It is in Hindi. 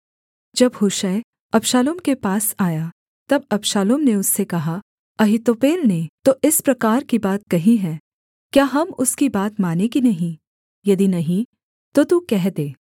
जब हूशै अबशालोम के पास आया तब अबशालोम ने उससे कहा अहीतोपेल ने तो इस प्रकार की बात कही है क्या हम उसकी बात मानें कि नहीं यदि नहीं तो तू कह दे